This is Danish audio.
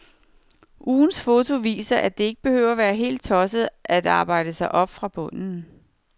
Ugens foto viser, at det ikke behøver være helt tosset at arbejde sig op fra bunden.